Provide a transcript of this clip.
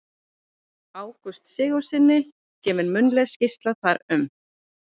Ágústi Sigurðssyni, gefin munnleg skýrsla þar um.